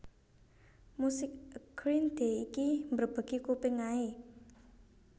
Musik e Green Day iki mbrebegi kuping ae